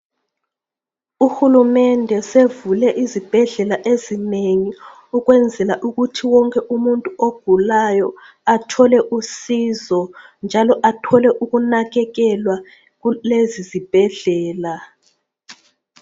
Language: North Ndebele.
Uhulumende sevule izibhedlela ezinengi ukwenzela ukuthi wonke umuntu ogulayo athole usizo njalo athole ukunakekelwa kulezi ezibhedlela.